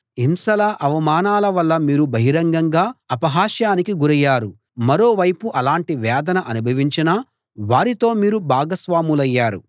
హింసల అవమానాల వల్ల మీరు బహిరంగంగా అపహాస్యానికి గురయ్యారు మరో వైపు అలాంటి వేదన అనుభవించిన వారితో మీరు భాగస్వాములయ్యారు